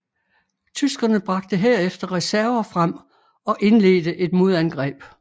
Tyskerne bragte herefter reserver frem og indledte et modangreb